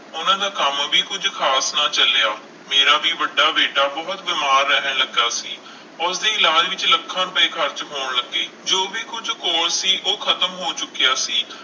ਉਹਨਾਂ ਦਾ ਕੰਮ ਵੀ ਕੁੱਝ ਖ਼ਾਸ ਨਾ ਚੱਲਿਆ, ਮੇਰਾ ਵੀ ਵੱਡਾ ਬੇਟਾ ਬਹੁਤ ਬਿਮਾਰ ਰਹਿਣ ਲੱਗਾ ਸੀ, ਉਸਦੇ ਇਲਾਜ਼ ਵਿੱਚ ਲੱਖਾਂ ਰੁਪਏ ਖ਼ਰਚ ਹੋਣ ਲੱਗੇ, ਜੋ ਵੀ ਕੁੱਝ ਕੋਲ ਸੀ ਉਹ ਖ਼ਤਮ ਹੋ ਚੁੱਕਿਆ ਸੀ।